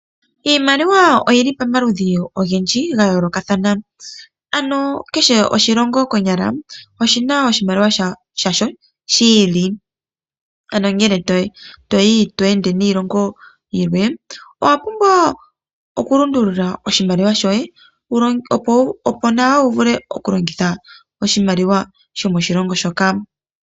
Iimaliwa oyili pomaludhi ogendji ga yoolokathana, ano kehe oshilongo konyala oshina oshimaliwa shasho shi ili. Ano ngele toyi to ende niilongo yilwe owa pumbwa oku lundulula oshimaliwa shoye, opo nawa wu vule oku longitha oshimaliwa shomoshilongo shoka.